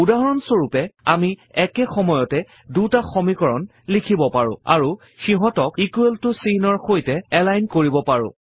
উদাহৰণ স্বৰূপে আমি একে সময়তে দুটা সমীকৰণ লিখিব পাৰো আৰু সিহঁঅতক ইকোৱেল ত চিহ্নৰ সৈতে এলাইন কৰিব পাৰো